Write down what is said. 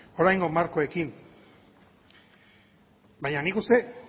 oraingo markoekin baina nik uste dut